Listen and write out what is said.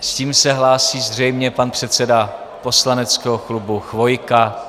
S tím se hlásí zřejmě pan předseda poslaneckého klubu Chvojka.